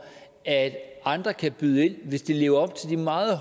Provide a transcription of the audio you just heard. at andre kan byde ind hvis de lever op til de meget